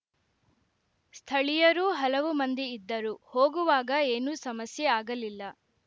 ಸ್ಥಳೀಯರೂ ಹಲವು ಮಂದಿ ಇದ್ದರು ಹೋಗುವಾಗ ಏನೂ ಸಮಸ್ಯೆ ಆಗಲಿಲ್ಲ